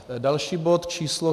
Další bod, číslo